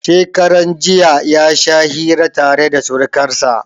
Shekaran jiya ya sha hira tare da surkansa.